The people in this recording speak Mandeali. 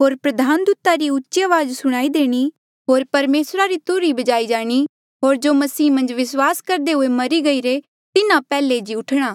होर प्रधान दूता रा उची अवाज सुणाई देणी होर परमेसरा री तुरही बजाई जाणी होर जो मसीह मन्झ विस्वास करदे हुए मरी गईरे तिन्हा पैहले जी उठणा